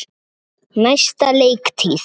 Næsta leiktíð?